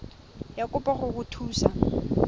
ya kopo go go thusa